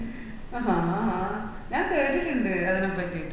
ആഹ് ആഹ് ഞാൻ കേട്ടിട്ടുണ്ട്‌ അതിനെ പട്ടീട്ട്